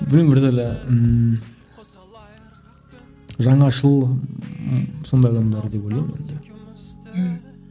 білмеймін бір түрлі ммм жаңашыл м сондай адамдар деп ойлаймын енді мхм